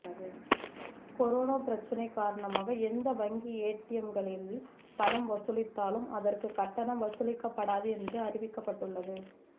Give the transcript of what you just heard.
corona பிரச்சனை காரணமாக எந்த வங்கி ஏடிஎம்களில் பணம் வசூலித்தாலும் அதற்கு கட்டணம் வசூலிக்கப்படாது என்று அறிவிக்கப்பட்டுள்ளது